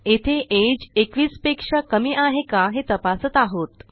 येथे अगे 21 पेक्षा कमी आहे का हे तपासत आहोत